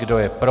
Kdo je pro?